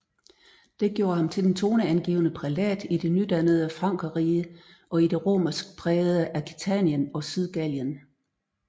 Det gjorde ham til den toneangivende prælat i det nydannede Frankerrige og i det romersk prægede Aquitanien og Sydgallien